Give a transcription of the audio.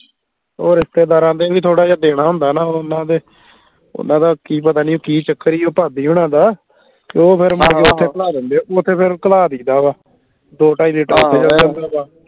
ਉਹ ਰਿਸ਼ਤੇਦਾਰਾਂ ਦੇ ਵੀ ਥੋੜਾ ਜਿਹਾ ਦੇਣਾ ਹੁੰਦਾ ਨਾ ਉਹ ਓਹਨਾ ਦੇ ਓਹਨਾ ਦਾ ਕਿ ਪਤਾ ਨਹੀਂ ਕਿ ਚੱਕਰ ਈ ਉਹ ਭਾਬੀ ਹੋਣਾ ਦਾ ਉਹ ਫੇਰ ਹਾਂ ਹਾਂ ਓਥੇ ਘੱਲਾ ਦਿੰਦੇ ਹੈ ਓਥੇ ਫੇਰ ਘੱਲਾ ਦੇਇ ਦਾ ਵਾ ਦੋ ਢਾਈ ਲੀਟਰ ਆਹੋ